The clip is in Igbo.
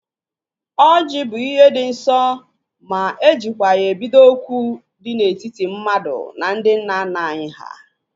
Oji bụ ihe dị nsọ ma ejikwa ya ebido okwu dị n'etiti mmadụ na ndị nna nna anyị ha